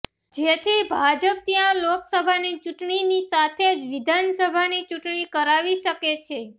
જેથી ભાજપ ત્યાં લોકસભાની ચૂંટણીની સાથે જ વિધાનસભાની ચૂંટણી કરાવી શકે છે